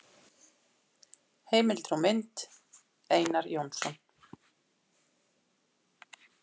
Heimildir og mynd: Einar Jónsson.